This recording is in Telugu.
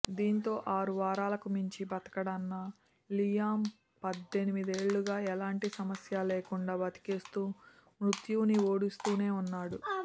దీంతో ఆరువారాలకు మించి బతకడన్న లియామ్ పద్దెనిమిదేళ్లుగా ఎలాంటి సమస్య లేకుండా బతికేస్తూ మృత్యువుని ఓడిస్తూనే ఉన్నాడు